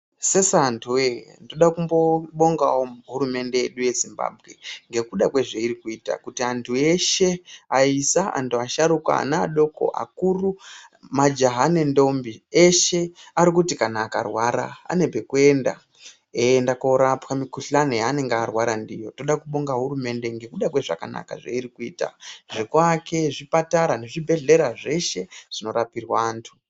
Sesa antu woye, ndoda kumbobongawo hurumende yedu yeZimbabwe ngekuda kwezveiri kuita kuti antu eshe ayisa, antu asharuka, ana adoko, akuru, majaha nendombi, eshe arikuti kana akarwara ane pekuenda eienda korapwa mukuhlani yaanenge arwara ndiyo. Ndoda kubonga hurumende ngekuda kwezvakanaka zveiri kuita zvekuake zvipatara nezvibhedhlera zveshe zvinorapirwa antu.